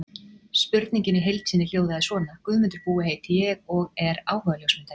Spurningin í heild sinni hljóðaði svona: Guðmundur Búi heiti ég og er áhugaljósmyndari.